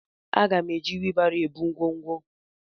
Aga m eji wibaro ebu ngwongwo.